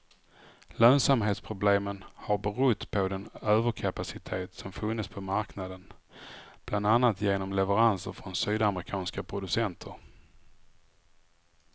Lönsamhetsproblemen har berott på den överkapacitet som funnits på marknaden, bland annat genom leveranser från sydamerikanska producenter.